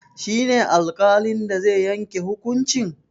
Shi ne alƙalin da zai yanke hukuncin?